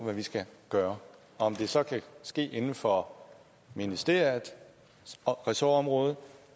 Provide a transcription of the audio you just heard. hvad vi skal gøre og om det så kan ske inden for ministeriets ressortområde